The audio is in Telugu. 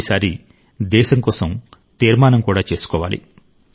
ఈసారి దేశం కోసం తీర్మానం కూడా చేసుకోవాలి